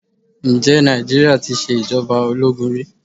Ǹjẹ́ Nàìjíríà tí ṣe ìjọba ológun rí?